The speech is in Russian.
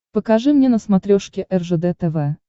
покажи мне на смотрешке ржд тв